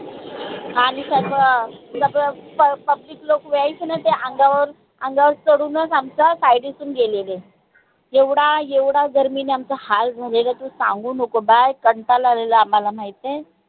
आणि सर्व सर्व public लोक अंगावर अंगावर चढूनच आमच्या पाय देतुन गेलेले. येवडा येवडा गर्मीन आमचा हाल झालेला की, सांगू नको बाई कंटाला आलेलाय आम्हाला माहिताय